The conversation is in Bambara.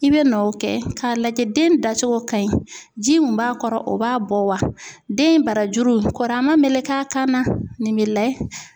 I bɛ nɔ kɛ k'a lajɛ den dacogo ka ɲi ji min b'a kɔrɔ o b'a bɔ wa den barajuru kɔri a man meleke a kan na nin bɛ layɛ.